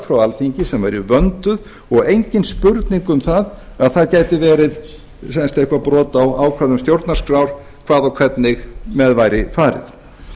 frá alþingi sem væru vönduð og engin spurning um að það gæti verið eitthvert brot á ákvæðum stjórnarskrá hvað og hvernig með væri farið